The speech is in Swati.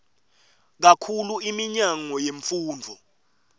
kakhulu iminyango yemfundvo